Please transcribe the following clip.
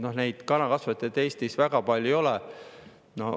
Noh, neid kanakasvatajaid Eestis väga palju ei ole.